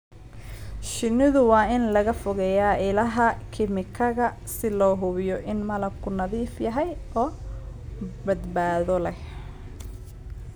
Shinnida waa in laga fogeeyaa ilaha kiimikada si loo hubiyo in malabku nadiif yahay oo badbaado leh.